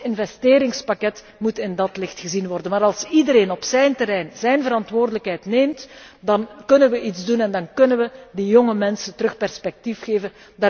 Ook ons investeringspakket moet in dat licht gezien worden. Als iedereen op zijn terrein zijn verantwoordelijkheid neemt, dan kunnen we iets doen en dan kunnen we die jonge mensen weer perspectief geven.